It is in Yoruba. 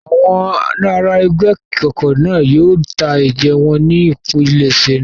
Àwọn ará ẹgbẹ́ ìkọ̀kọ̀ náà yóò ta ẹ̀jẹ̀ wọn ní ìpilẹ̀ṣẹ̀ náà.